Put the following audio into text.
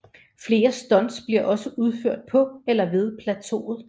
Flere stunts bliver også udført på eller ved plateauet